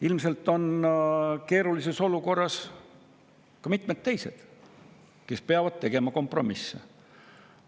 Ilmselt on keerulises olukorras ka mitmed teised, kes peavad tegema kompromisse.